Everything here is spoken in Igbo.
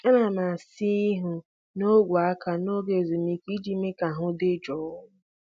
Ana m asa ihu na ogwe aka n'oge ezumike iji mee ka ahụ dị jụụ.